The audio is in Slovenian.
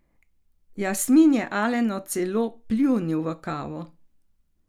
Jasmin je Alenu celo pljunil v kavo.